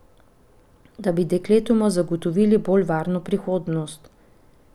Da bi dekletoma zagotovili bolj varno prihodnost.